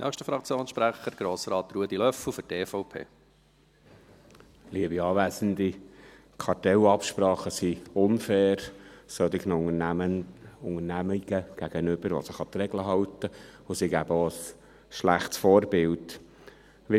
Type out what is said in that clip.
Kartellabsprachen sind gegenüber solchen Unternehmungen, die sich an die Regeln halten, unfair, und sie geben auch ein schlechtes Vorbild ab.